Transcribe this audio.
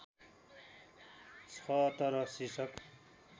छ तर शीर्षक